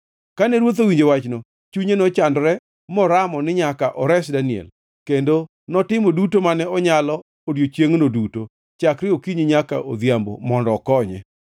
Kane ruoth owinjo wachno, chunye nochandore; moramo ni nyaka ores Daniel, kendo notimo duto mane onyalo odiechiengno duto chakre okinyi nyaka odhiambo mondo okonye.